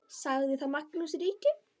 Sagði þá Magnús ríki: